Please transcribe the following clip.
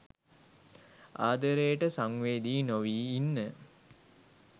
ආදරේට සංවේදී නොවී ඉන්න.